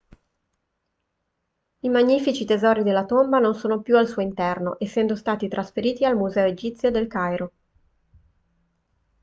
i magnifici tesori della tomba non sono più al suo interno essendo stati trasferiti al museo egizio del cairo